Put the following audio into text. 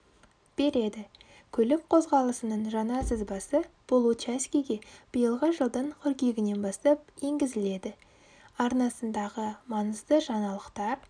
береді көлік қозғалысының жаңа сызбасы бұл учаскеге биылғы жылдың қыркүйегінен бастап енгізіледі арнасындағы маңызды жаңалықтар